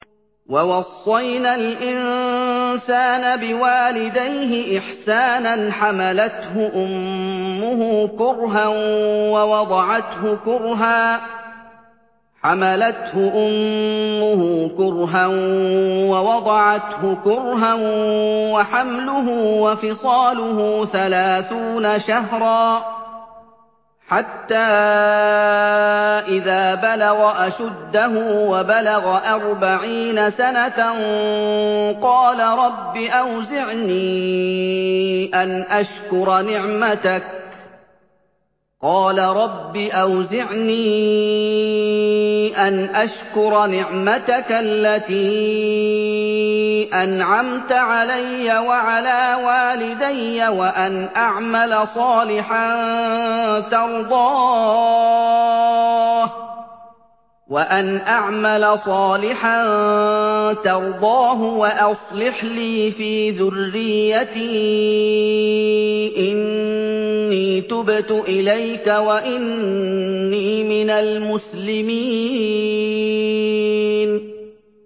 وَوَصَّيْنَا الْإِنسَانَ بِوَالِدَيْهِ إِحْسَانًا ۖ حَمَلَتْهُ أُمُّهُ كُرْهًا وَوَضَعَتْهُ كُرْهًا ۖ وَحَمْلُهُ وَفِصَالُهُ ثَلَاثُونَ شَهْرًا ۚ حَتَّىٰ إِذَا بَلَغَ أَشُدَّهُ وَبَلَغَ أَرْبَعِينَ سَنَةً قَالَ رَبِّ أَوْزِعْنِي أَنْ أَشْكُرَ نِعْمَتَكَ الَّتِي أَنْعَمْتَ عَلَيَّ وَعَلَىٰ وَالِدَيَّ وَأَنْ أَعْمَلَ صَالِحًا تَرْضَاهُ وَأَصْلِحْ لِي فِي ذُرِّيَّتِي ۖ إِنِّي تُبْتُ إِلَيْكَ وَإِنِّي مِنَ الْمُسْلِمِينَ